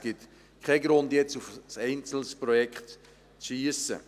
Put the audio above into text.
Es gibt keinen Grund, jetzt auf ein einzelnes Projekt zu schiessen.